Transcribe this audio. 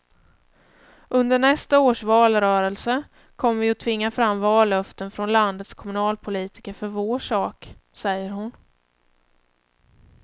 Under nästa års valrörelse kommer vi att tvinga fram vallöften från landets kommunalpolitiker för vår sak, säger hon.